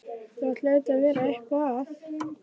Það hlaut að vera eitthvað að.